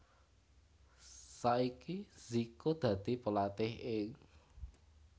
Saiki Zico dadi pelatih ing